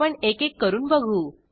आपण एकेक करून बघू